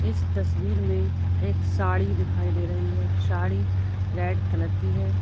इस तस्वीर में एक साड़ी दिखाई दे रही है साड़ी रेड कलर की है।